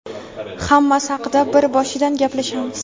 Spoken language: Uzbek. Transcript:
Hammasi haqida bir boshidan gaplashamiz!.